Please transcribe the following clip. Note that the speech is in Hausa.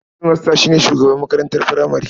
Hedimasta shi ne shugaban makarantar furamare.